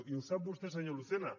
i ho sap vostè senyor lucena